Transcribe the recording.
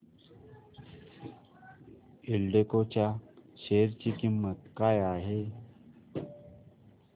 एल्डेको च्या शेअर ची किंमत काय आहे